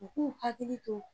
U k'u hakili to